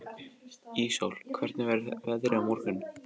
Íssól, hvernig verður veðrið á morgun?